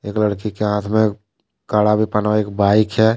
एक लड़की के हाथ में कड़ा भी एक बाइक है।